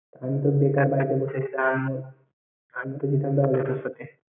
আমি তো বেকার বাড়িতে বসে থাকতাম। আমি তো যেতাম ।